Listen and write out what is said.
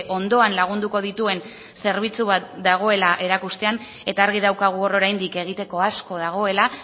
ondoan lagunduko dituen zerbitzu bat dagoela erakustean eta argi daukagu hor oraindik egiteko asko dagoela